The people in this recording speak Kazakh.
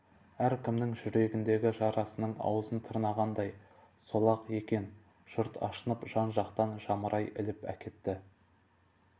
әркімнің жүрегіндегі жарасының аузын тырнағандай сол-ақ екен жұрт ашынып жан-жақтан жамырай іліп әкетті